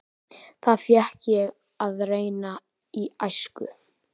Það fékk ég að reyna í æsku.